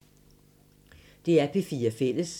DR P4 Fælles